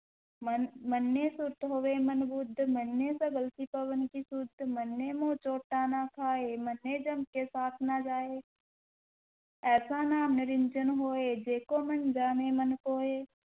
ਮੰਨ~ ਮੰਨੈ ਸੁਰਤਿ ਹੋਵੈ ਮਨਿ ਬੁਧਿ, ਮੰਨੈ ਸਗਲ ਕੀ ਭਵਣ ਕੀ ਸੁਧਿ, ਮੰਨੈ ਮੁਹਿ ਚੋਟਾ ਨਾ ਖਾਇ, ਮੰਨੈ ਜਮ ਕੈ ਸਾਥਿ ਨਾ ਜਾਇ ਐਸਾ ਨਾਮੁ ਨਿਰੰਜਨੁ ਹੋਇ, ਜੇ ਕੋ ਮੰਨਿ ਜਾਣੈ ਮਨਿ ਕੋਇ,